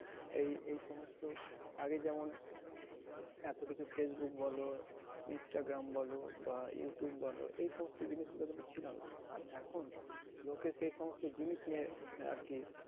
এই এই সমস্ত আগে যেমন এতকিছু ফেইসবুক বলো ইনস্টাগ্রাম বলো বা ইউটিউব বলো এই সমস্ত জিনিস গুলো কিন্তু ছিল না। আর এখন লোকে সে সমস্ত জিনিস নিয়ে আর কি